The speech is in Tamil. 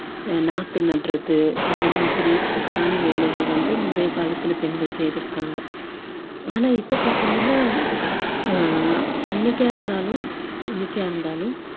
அஹ் நாத்து நடுறது அந்த மாதிரி ஆன வேலைகள் வந்து முந்தைய காலத்தில் பெண்கள் செய்திருக்காங்க ஆனா இப்போ பாத்தீங்கன்னா ஆஹ் அன்னைக்கா இருந்தாலும் இன்னைக்கா இருந்தாலும்